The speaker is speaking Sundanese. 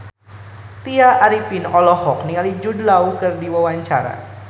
Tya Arifin olohok ningali Jude Law keur diwawancara